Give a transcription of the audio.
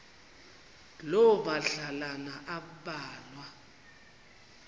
loo madlalana ambalwa